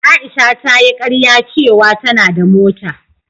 Aisha ta yi karya ce wa ta na da mota